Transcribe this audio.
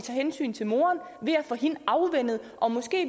hensyn til moren ved at få hende afvænnet og måske